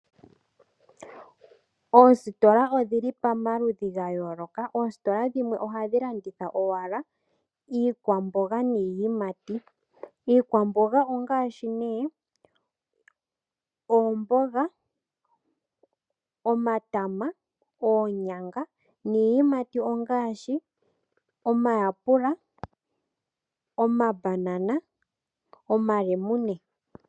Oositola odhi li pamaludhi ga yooloka. Oositola dhimwe ohadhi landitha nee iikwamboga niiyimati. Iikwamboga ongaashi nee oomboga, omatama, oonyanga niiyimati ongaashi omayapula, omabanana, omalemune.